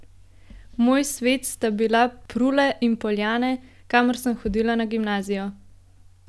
Moj svet sta bila Prule in Poljane, kamor sem hodila na gimnazijo.